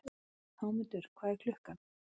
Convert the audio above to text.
Hámundur, hvað er klukkan?